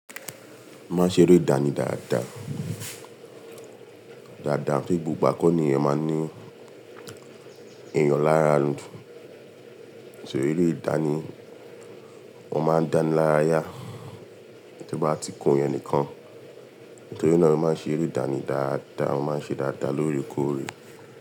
Má ṣe eré ìdánì dáadáa, dáadáa bí gbogbo àkọ́ní yẹn máa ń ní èèyàn lára àlùfùn. Èso eré ìdánì, wọ́n máa ń dánilaraya, tí bá ti kù yẹn nìkan. Nítorí náà wọ́n máa ń ṣe eré ìdánì dáadáa, wọ́n máa ń ṣe dáadáa lórí okoòwé.